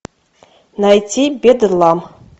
найти бедлам